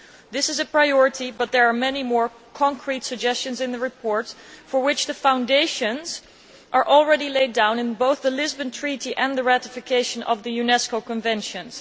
This is a priority, but there are many more concrete suggestions in the report, for which the foundations are already laid down in both the Lisbon Treaty and the ratification of the UNESCO conventions.